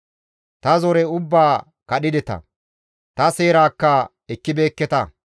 Ta zore ubbaa kadhideta; ta seerakka ekkibeekketa.